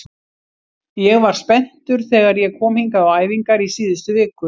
Ég var spenntur þegar ég kom hingað á æfingar í síðustu viku.